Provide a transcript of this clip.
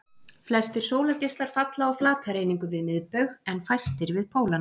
Flestir sólargeislar falla á flatareiningu við miðbaug en fæstir við pólana.